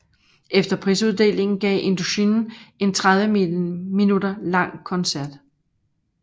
Efter prisuddelingen gav Indochine en 30 min lang koncert